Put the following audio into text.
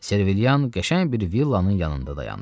Servilian qəşəng bir villanın yanında dayandı.